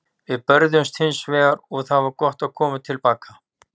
Við börðumst hins vegar og það var gott að koma til baka.